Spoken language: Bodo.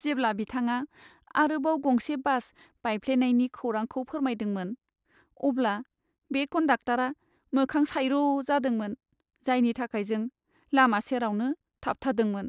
जेब्ला बिथाङा आरोबाव गंसे बास बायफ्लेनायनि खौरांखौ फोरमायदोंमोन, अब्ला बे कन्डाक्टरा मोखां सायर' जादोंमोन, जायनि थाखाय जों लामा सेरावनो थाबथादोंमोन।